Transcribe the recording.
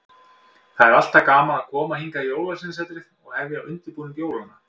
Það er alltaf gaman að koma hingað í Jólasveinasetrið og hefja undirbúning jólanna.